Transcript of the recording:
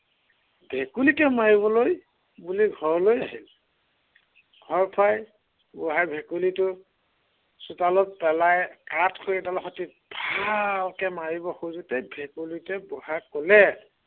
ভেকুলীকে মাৰিবলৈ বুলি ঘৰলৈ আহিল। ঘৰ পাই বুঢ়াই ভেকুলী, চোতালত পেলাই কাঠ খৰি এডালে সৈতে ভালকৈ মাৰিবলৈ লওঁতেই ভেকুলীটোৱে বুঢ়াক কলে